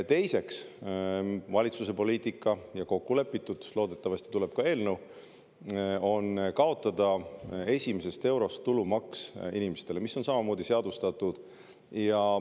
Teiseks, valitsuse poliitika – see on kokku lepitud, loodetavasti tuleb ka sellekohane eelnõu – on kaotada esimesest eurost tulumaks, mis on samamoodi seadustatud.